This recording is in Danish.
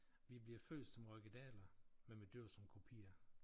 Vi bliver født som originaler men vi dør som kopier